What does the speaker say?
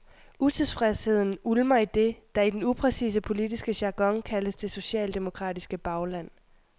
Utilfredsheden ulmer i det, der i den upræcise politiske jargon kaldes det socialdemokratiske bagland.